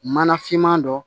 Mana finman dɔ